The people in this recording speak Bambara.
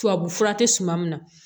Tubabu fura tɛ suman min na